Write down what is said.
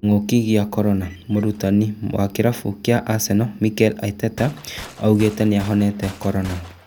Kĩng'uki gĩa korona mũrũtani wa kĩrabu kĩa Arsenal Mikel Arteta oigĩte 'nĩahonete korona'